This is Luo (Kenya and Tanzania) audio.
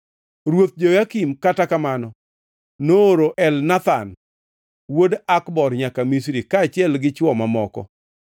Ruoth Jehoyakim, kata kamano, nooro Elnathan wuod Akbor nyaka Misri, kaachiel gi chwo mamoko.